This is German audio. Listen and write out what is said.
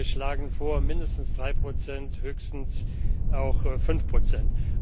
Wir schlagen vor, mindestens 3 Prozent, höchstens aber 5 Prozent.